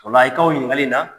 i ka o ɲininkali in na.